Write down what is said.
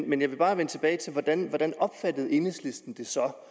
men jeg vil bare vende tilbage til hvordan hvordan enhedslisten så